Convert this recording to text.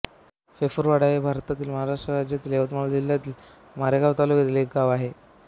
फेफरवाडा हे भारतातील महाराष्ट्र राज्यातील यवतमाळ जिल्ह्यातील मारेगांव तालुक्यातील एक गाव आहे